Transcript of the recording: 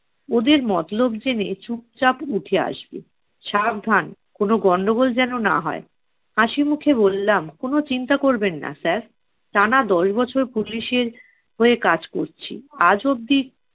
ওদের মতলব জেনে চুপচাপ উঠে আসবে। সাবধান, কোনো গন্ডগোল যেন না হয়। হাসি মুখে বললাম, কোনো চিন্তা করবেন না sir । টানা দশ বছর police এর হয়ে কাজ করছি। আজ অবধি